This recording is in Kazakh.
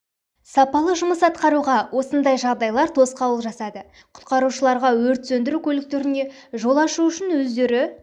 сапалы жұмыс атқаруға осындай жағдайлар тосқауыл жасады құтқарушыларға өт сөндіру көліктеріне жол ашу үшін өздері